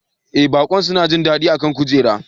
Ee baƙon suna jin daɗi a kan kujera